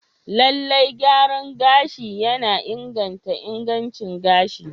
Lallai, gyaran gashi yana inganta ingancin gashi.